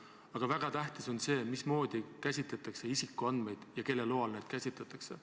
Aga väga tähtis on see, mismoodi käsitletakse isikuandmeid ja kelle loal neid käsitletakse.